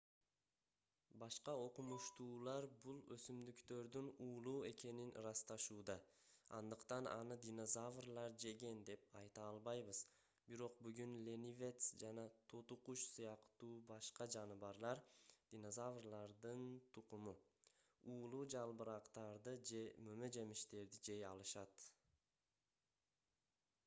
башка окумуштуулар бул өсүмдүктөрдүн уулуу экенин ырасташууда андыктан аны динозаврлар жеген деп айта албайбыз. бирок бүгүн ленивец жана тоту куш сыяктуу башка жаныбарлар динозаврлардын тукуму уулуу жалбырактарды же мөмө-жемиштерди жей алышат